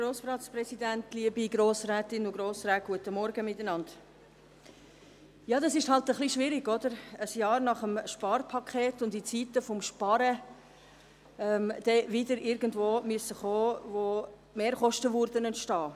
Es ist halt etwas schwierig, ein Jahr nach dem Sparpaket und in Zeiten des Sparens wieder mit etwas zu kommen, das Mehrkosten generieren würde.